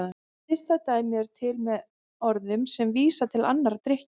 Hliðstæð dæmi eru til með orðum sem vísa til annarra drykkja.